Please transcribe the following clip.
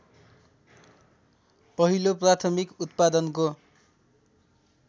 पहिलो प्राथमिक उत्पादनको